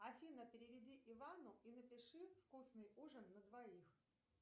афина переведи ивану и напиши вкусный ужин на двоих